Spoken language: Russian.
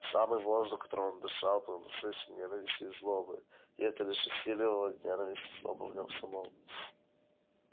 самый воздух которым он дышал был насыщен ненавистью и злобой и это лишь усиливало ненависть и злобу в нем самом